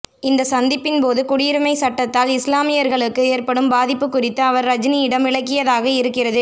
இந்த சந்திப்பின்போது குடியுரிமை சட்டத்தால் இஸ்லாமியர்களுக்கு ஏற்படும் பாதிப்பு குறித்து அவர் ரஜினியிடம் விளக்கியதாக இருக்கிறது